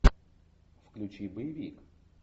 включи боевик